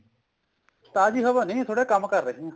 ਤਾਜ਼ੀ ਹਵਾ ਨੀ ਥੋੜਾ ਕੰਮ ਕਰ ਰਹੇ ਹਾਂ